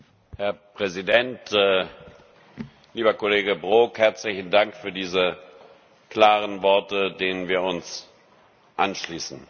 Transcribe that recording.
Herr Präsident! Lieber Kollege Brok, herzlichen Dank für diese klaren Worte, denen wir uns anschließen.